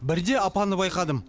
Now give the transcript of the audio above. бірде апаны байқадым